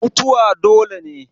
Mutuwa dole ne.